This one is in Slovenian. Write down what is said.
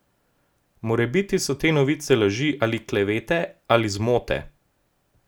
Morebiti so te novice laži, ali klevete, ali zmote.